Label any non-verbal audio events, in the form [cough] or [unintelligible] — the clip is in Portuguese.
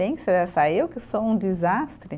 Pensa [unintelligible] eu que sou um desastre.